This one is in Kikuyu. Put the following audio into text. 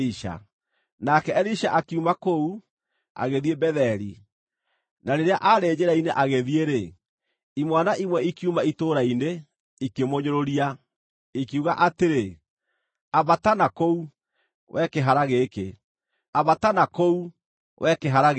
Nake Elisha akiuma kũu, agĩthiĩ Betheli. Na rĩrĩa aarĩ njĩra-inĩ agĩthiĩ-rĩ, imwana imwe ikiuma itũũra-inĩ, ikĩmũnyũrũria, ikiuga atĩrĩ, “Ambata nakũu, wee kĩhara gĩkĩ! Ambata nakũu, wee kĩhara gĩkĩ!”